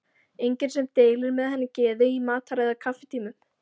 Enginn sem deilir með henni geði í matar- eða kaffitímum.